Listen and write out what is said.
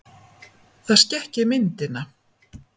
Það skekki myndina.